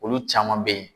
Olu caman be ye